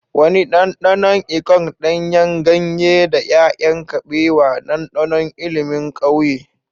Wani ɗanɗanon ikong, ɗanyen ganye, da 'ya'yan kabewa, ɗanɗanon ilimin ƙauye.